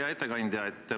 Hea ettekandja!